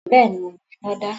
Bẹ́ẹ̀ni, mo mọ iná dá.